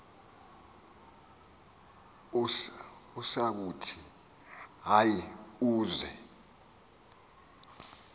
usakuthi hayi uz